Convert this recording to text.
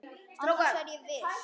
Annars er ég ekki viss.